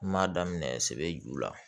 N m'a daminɛ sɛbɛ ju la